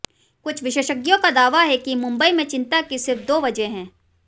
कुछ विशेषज्ञों का दावा है कि मुंबई में चिंता की सिर्फ दो वजहें हैं